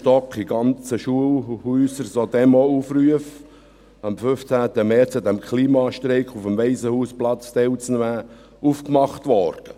Dort wurden in ganzen Schulhäusern auf jedem Stock Demoaufrufe aufgehängt, am 15. März am Klimastreik auf dem Waisenhausplatz teilzunehmen.